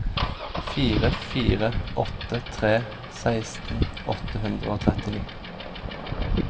fire fire åtte tre seksten åtte hundre og trettini